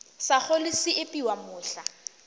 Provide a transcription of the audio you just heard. sa kgole se epiwa mohla